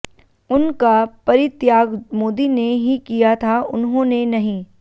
उन का परित्याग मोदी ने ही किया था उन्हों ने नहीं